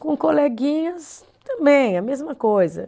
Com coleguinhas, também, a mesma coisa.